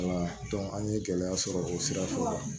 Wala an ye gɛlɛya sɔrɔ o sira fɛ